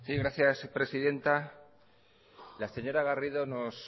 gracias presidenta la señora garrido nos